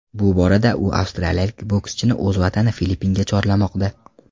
Bu borada u avstraliyalik boskchini o‘z vatani Filippinga chorlamoqda.